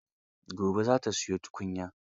Gobe za ta siyo tukunya.